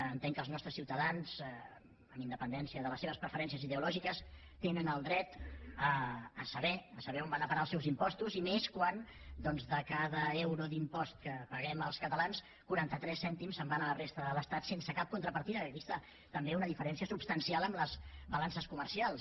entenc que els nostres ciutadans amb independència de les seves preferències ideològiques tenen el dret a saber on van a parar els seus impostos i més quan de cada euro d’impost que paguem els catalans quaranta tres cèntims se’n van a la resta de l’estat sense cap contrapartida que aquí hi ha també una diferència substancial amb les balances comercials